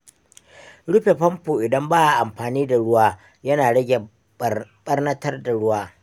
Rufe famfo idan ba a amfani da ruwa yana rage ɓarnatar da ruwa.